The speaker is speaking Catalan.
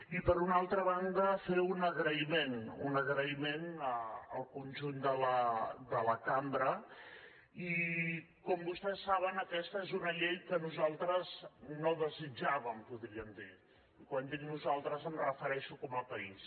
i per una altra banda fer un agraïment un agraïment al conjunt de la cambra i com vostès saben aquesta és una llei que nosaltres no desitjàvem podríem dir i quan dic nosaltres em refereixo com a país